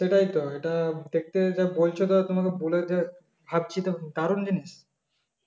সেটাই তো এটা দেখতে যা বলছ তা তোমার ভাবছি তো দারুন জিনিস